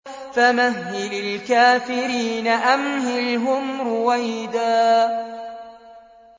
فَمَهِّلِ الْكَافِرِينَ أَمْهِلْهُمْ رُوَيْدًا